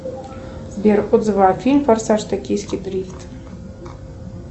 сбер отзывы о фильм форсаж токийский дрифт